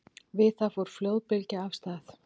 Við það fór flóðbylgja af stað.